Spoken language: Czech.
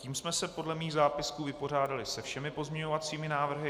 Tím jsme se podle mých zápisků vypořádali se všemi pozměňovacími návrhy.